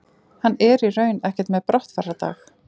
Hann er í raun ekkert með brottfarardag.